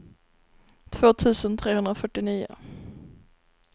två tusen trehundrafyrtionio